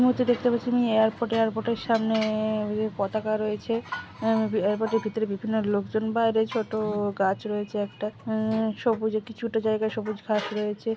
এই মূহূর্তে দেখতে পাচ্ছি আমি এয়ারপোর্ট এয়ারপোর্ট এর সামনে এ- পতাকা রয়েছে এ এয়ারপোর্ট এর ভিতরে বিভিন্ন লোক জন বাইরে ছোটও গাছ রয়েছে একটা উঁ সবুজে কিছুটা জায়গা সবুজ ঘাস রয়েছে।